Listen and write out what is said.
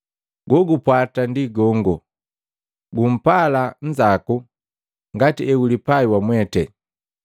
Jejipwata ndi jenze, ‘Gumpala nnzaku ngati eulipai wamwete.’